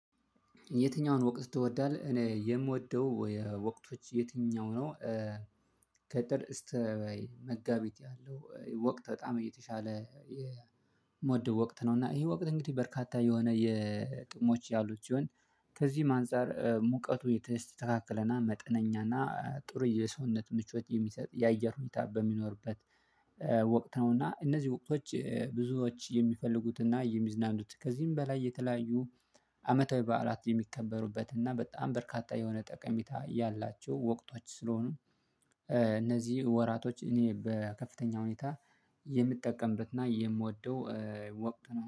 የትኛውን ወቅት ትወዳለህ? እኔ የምወደው ወቅቶች የትኛው ነው? ከጥር እስተ መጋቢት ያለው ወቅት በጣም እየተሻለ የምወድ ወቅት ነው። እና ይሄ ወቅት እንግዲህ በርካታ የሆነ የጥሞች ያሉት ሲሆን ከዚህም አንፃር ሙቀቱ የተስተካከለና መጠነኛና ጥሩ የሰውነት ምቾት የሚሰጥ የአየር ሁኔታ በሚኖርበት ወቅት ነውና። እነዚህ ወቅቶች ብዙዎች የሚፈልጉትና የሚዝናኑት ከዚህም በላይ የተለያዩ አመታዊ በዓላት የሚከበሩበት እና በጣም በርካታ የሆነ ጠቀሚታ ያላቸው ወቅቶች ስለሆኑ እነዚህ ወራቶች እኔ በከፍተኛ ሁኔታ የምጠቀምበትና የምወደው ወቅት ነው